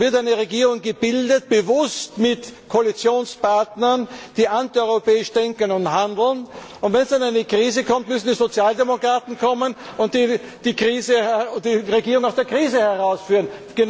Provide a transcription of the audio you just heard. Da wird eine Regierung gebildet, bewusst mit Koalitionspartnern, die antieuropäisch denken und handeln, und wenn dann eine Krise kommt, müssen die Sozialdemokraten kommen und die Regierung aus der Krise herausführen.